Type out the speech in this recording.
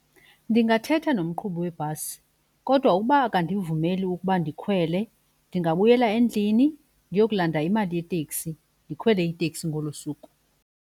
Ndingathetha nomqhubi webhasi kodwa ukuba akandivumeli ukuba ndikhwele ndingabuyela endlini ndiyokulanda imali yeteksi ndikhwele iteksi ngolu suku.